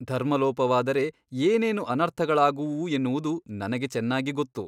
ಧರ್ಮಲೋಪವಾದರೆ ಏನೇನು ಅನರ್ಥಗಳಾಗುವುವು ಎನ್ನುವುದು ನನಗೆ ಚೆನ್ನಾಗಿ ಗೊತ್ತು.